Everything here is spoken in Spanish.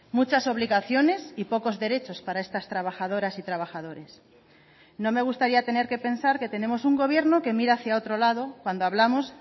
muchas obligaciones y pocos derechos para estas trabajadoras y trabajadores no me gustaría tener que pensar que tenemos un gobierno que mira hacia otro lado cuando hablamos